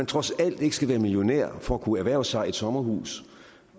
trods alt ikke skal være millionærer for at kunne erhverve sig et sommerhus